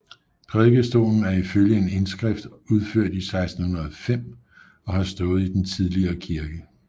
Prædikestolen er ifølge en indskrift udført i 1605 og har stået i den tidligere kirke